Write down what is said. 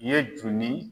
Ye jun ni